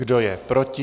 Kdo je proti?